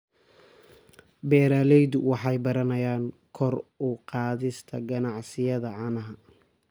Beeraleydu waxay baranayaan kor u qaadista ganacsiyada caanaha.